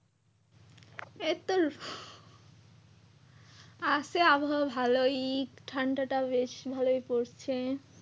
এইতো আসে আবহাওয়া ভালোই একটু ঠান্ডা টা বেশ ভালোই পড়ছে ।